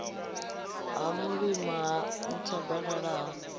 ha mulima ha nthabalala ha